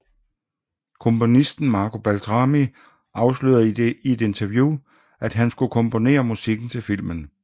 Komponisten Marco Beltrami afslørede i et interview at han skulle komponere musikken til filmen